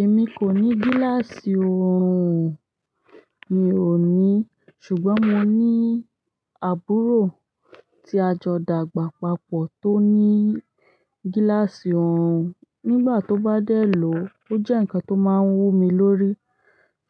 Èmi kò ní gíláàsì ọrùn, mi ò ní, ṣùgbọ́n mo ní àbúrò tí a jọ dàgbà papọ̀ tó ní gíláàsì ọrùn. Nígbà tó bá dẹ̀ lọ, ó jẹ́ ǹnkan tó máa ń wú mi lórí,